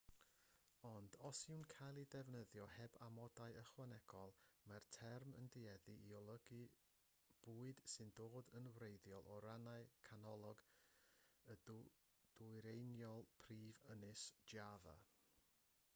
ond os yw'n cael ei ddefnyddio heb amodau ychwanegol mae'r term yn tueddu i olygu'r bwyd sy'n dod yn wreiddiol o rannau canolog a dwyreiniol prif ynys java